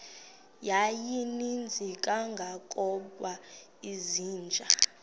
yayininzi kangangokuba izinja